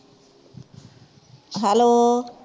hello